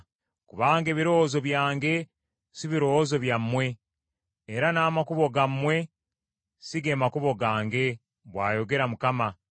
“Kubanga ebirowoozo byange si birowoozo byammwe era n’amakubo gammwe si ge makubo gange,” bw’ayogera Mukama .